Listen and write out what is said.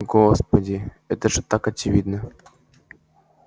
господи это же так очевидно